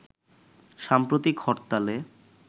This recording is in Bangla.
সাম্প্রতিক হরতালে